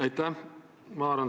Aitäh!